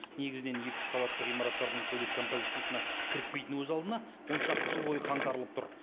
негізінен екі үш қабаттан ғимараттардың сәулет композициясына кірікпейтіні өз алдына он шақты жыл бойы қаңтарылып тұр